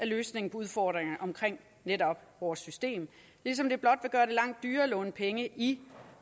løsningen på udfordringerne omkring netop vores system ligesom det blot vil gøre det langt dyrere at låne penge i